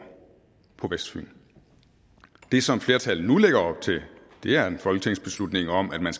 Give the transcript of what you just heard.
på vestfyn det som flertallet nu lægger op til er en folketingsbeslutning om at man